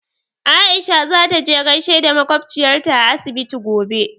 Aisha za ta je gaishe da makwabciyarta a asibiti gobe.